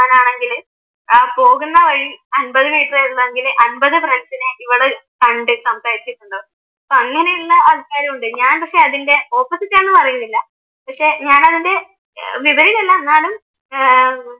ആ പോകുന്ന വഴി അമ്പത് ഫ്രണ്ട്സിനെ ഇവള് കണ്ട് സംസാരിച്ചിട്ടുണ്ടാവും. അപ്പൊ അങ്ങനെയുള്ള ആൾക്കാരുമുണ്ട് ഞാൻ പക്ഷെ അതിൻ്റെ ഓപ്പോസിറ്റാണെന്ന് പറയുന്നില്ല പക്ഷെ ഞാൻ അതിൻ്റെ വിപരീതമല്ല എന്നാലും